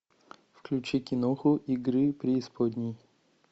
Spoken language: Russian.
включи киноху игры преисподней